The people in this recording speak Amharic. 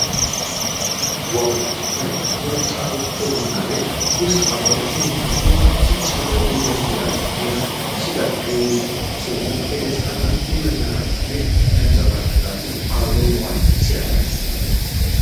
ዋው ሲያምር! ወጣቶች በቡና ቤት ውስጥ አብረው ሲዝናኑና ሲጨዋወቱ ደስ ይላል። ቢራ ሲጠጡና ሲበሉ የደስታና የመዝናናት ስሜት ይንጸባረቃል። አብሮ መዋል ሲያምር።